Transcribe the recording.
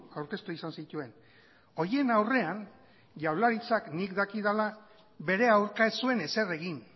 aurkeztu izan zituen horien aurrean jaurlaritzak nik dakidala bere aurka ez zuen ezer egin